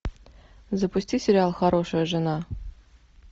запусти сериал хорошая жена